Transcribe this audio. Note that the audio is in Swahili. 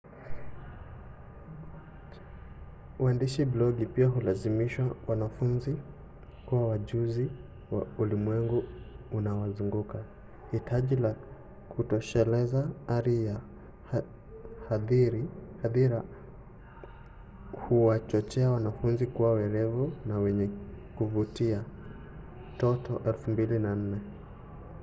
uandishi blogi pia hulazimisha wanafunzi kuwa wajuzi wa ulimwengu unaowazunguka. hitaji la kutosheleza ari ya hadhira huwachochea wanafunzi kuwa werevu na wenye kuvutia toto 2004